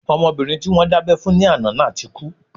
Ọmọbìnrin tí wọ́n dábẹ́ fún ní àná náà ti kú